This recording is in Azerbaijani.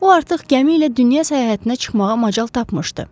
O artıq gəmi ilə dünya səyahətinə çıxmağa macal tapmışdı.